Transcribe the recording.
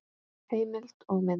Heimild og mynd